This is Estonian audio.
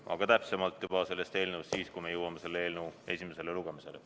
Aga täpsemalt sellest eelnõust siis, kui me jõuame selle eelnõu esimese lugemiseni.